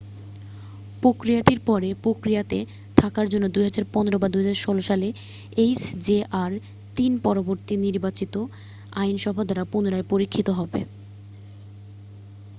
প্রক্রিয়াটির পরে প্রক্রিয়াতে থাকার জন্য 2015 বা 2016 সালে এইচজেআর-3 পরবর্তী নির্বাচিত আইনসভা দ্বারা পুনরায় পরীক্ষিত হবে